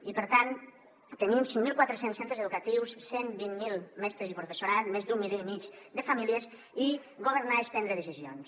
i per tant tenim cinc mil quatre cents centres educatius cent i vint miler mestres i professorat més d’un milió i mig de famílies i governar és prendre decisions